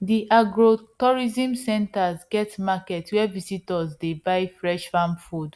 the agrotourism centre get market where visitors dey buy fresh farm food